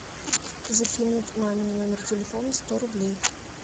закинуть маме на номер телефона сто рублей